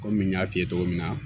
Kɔmi n y'a f'i ye cogo min na